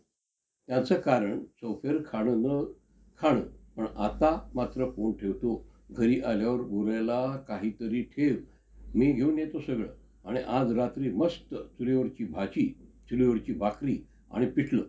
तिथे एक काड~ अह तिचं अं म्हणजे कु~ कुंडली भाग्य पण एक काढलं होतं. तर आता त्याचंपण second एक अं second य~ part काढणार आहेत.